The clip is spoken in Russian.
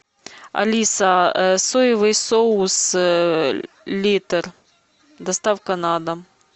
алиса соевый соус литр доставка на дом